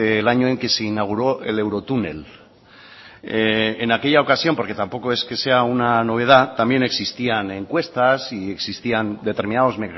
el año en que se inauguró el eurotúnel en aquella ocasión porque tampoco es que sea una novedad también existían encuestas y existían determinados